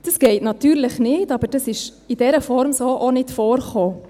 Das geht natürlich nicht, aber das ist in dieser Form so auch nicht vorgekommen.